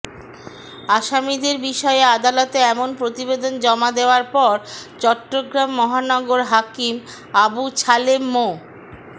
আসামিদের বিষয়ে আদালতে এমন প্রতিবেদন জমা দেওয়ার পর চট্টগ্রাম মহানগর হাকিম আবু ছালেম মো